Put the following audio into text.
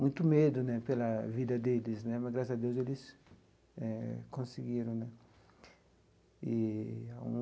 Muito medo né pela vida deles né, mas, graças a Deus, eles eh conseguiram né eee.